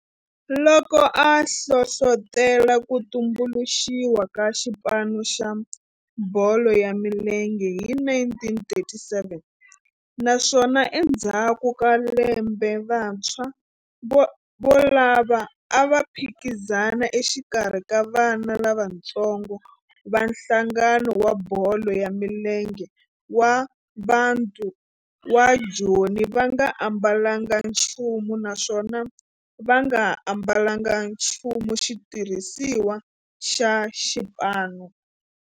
Loko a hlohlotela ku tumbuluxiwa ka xipano xa bolo ya milenge hi 1937 naswona endzhaku ka lembe vantshwa volavo a va phikizana exikarhi ka vana lavatsongo va nhlangano wa bolo ya milenge wa Bantu wa Joni va nga ambalanga nchumu naswona va nga ambalanga nchumu xitirhisiwa xa xipano.